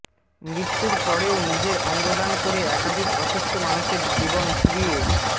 মৃত্যুর পরেও নিজের অঙ্গ দান করে একাধিক অসুস্থ মানুষের জীবন ফিরিয়ে